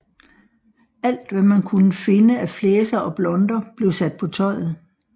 Alt hvad man kunne finde af flæser og blonder blev sat på tøjet